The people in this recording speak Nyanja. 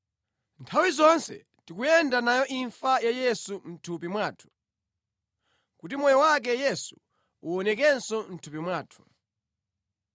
Nthawi zonse tikuyenda nayo imfa ya Yesu mʼthupi mwathu, kuti moyo wake Yesu uwonekenso mʼthupi mwathu.